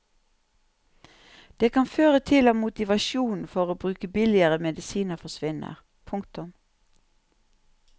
Det kan føre til at motivasjonen for å bruke billigere medisiner forsvinner. punktum